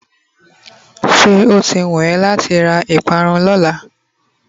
se oti wun eee lati ra iparun Lola?